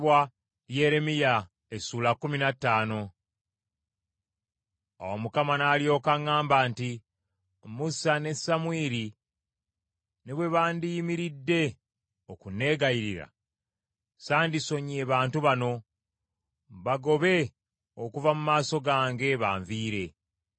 Awo Mukama n’alyoka aŋŋamba nti, “Musa ne Samwiri ne bwe bandiyimiridde okunneegayirira, sandisonyiye bantu bano. Bagobe okuva mu maaso gange, banviire.